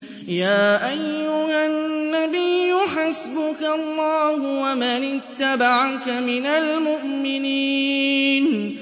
يَا أَيُّهَا النَّبِيُّ حَسْبُكَ اللَّهُ وَمَنِ اتَّبَعَكَ مِنَ الْمُؤْمِنِينَ